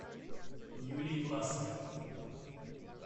юлии власовой